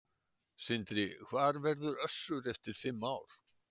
Sindri: Hvar verður Össur eftir fimm ár?